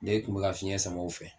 Ne kun be ka fiɲɛ sama o fɛ